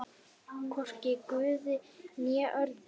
Hvorki guði né öðrum.